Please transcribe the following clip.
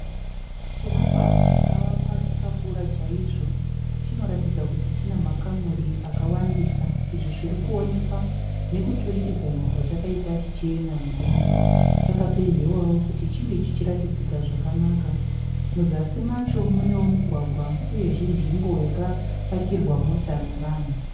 Chivakwa chakavakwa chakakura chaizvo chinoratidza kutí china makamuri akawandisa. Izvi zvirikuoneka nekuturikidzanwa kwachakaita chichienda mudenga. Chakapendewao kuti chinge chichiratidzika zvakanaka. muzasi macho mune mugwagwa pozoitao nzvimbo yakapakirwa mota navanhu.